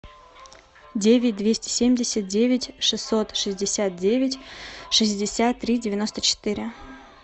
девять двести семьдесят девять шестьсот шестьдесят девять шестьдесят три девяносто четыре